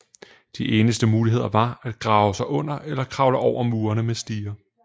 De eneste muligheder var at grave sig under eller kravle over murene med stiger